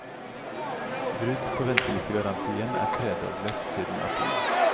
Brudd på ventelistegarantien er tredoblet siden april.